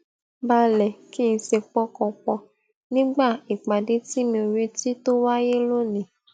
balè kí n sì pọkàn pò nígbà ìpàdé tí mi ò retí tó wáyé lónìí